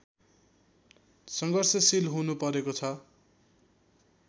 सङ्घर्षशील हुनुपरेको छ